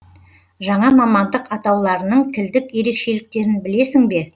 жаңа мамандық атауларының тілдік ерекшеліктерін білесің бе